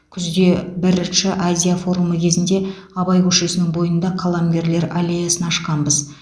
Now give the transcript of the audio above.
күзде бірінші азия форумы кезінде абай көшесінің бойында қаламгерлер аллеясын ашқанбыз